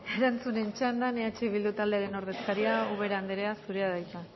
erantzunen txandan eh bildu taldearen ordezkaria ubera anderea zurea da hitza